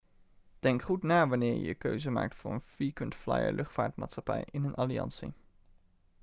denk goed na wanneer je je keuze maakt voor een frequent flyer-luchtvaartmaatschappij in een alliantie